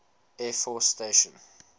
air force station